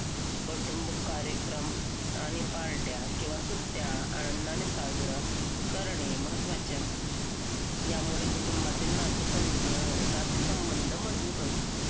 कौटुंबिक कार्यक्रम आणि पार्ट्या किंवा सुट्या आनंदाने साजरा करणे महत्वाचे आहे यामुळे कुटुंबातले नाते नातेसंबंध मजबूत होतात